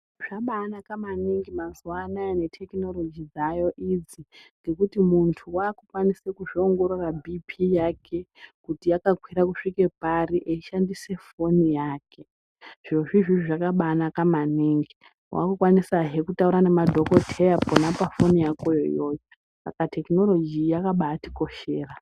Zvabanaka mazuwanaya netekinoroji dzaayo idzi ngekuti muntu wakukwanise kuzvipngorora bhipii yake kuti yakakwira kusvika pare eishandisa foni yake. Zvirozvo izvozvo zvakabanaka maningi, wakukwanisa kutaura nemadhokodheyazve pona pafoni yakoyp iyoyo saka tekinoroji yakabatikoshera.